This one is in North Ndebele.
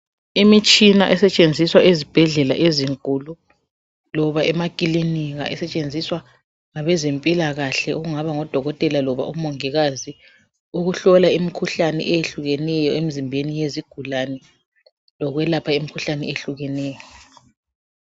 imitshina esetshenziswa ezibhedlela ezinkulu loba emakilinika esetshenziswa ngabezempilakahle kungaba ngo dokotela loba omongikazi ukuhlola imikhuhlane eyehlukeneyo emzimbeni yezigulane lokuyelapha imikhuhlane eyehlukeneyo